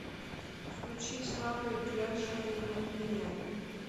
включи ислама итляшева не опьяняй